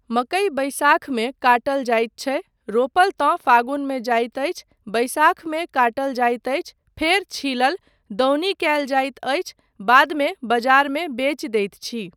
मकई बैसाखमे काटल जाइत छै, रोपल तँ फागुनमे जाइत अछि, बैसाखमे काटल जाइत अछि फेर छीलल , दौनी कयल जाइत अछि , बादमे बजारमे बेचि दैत छी।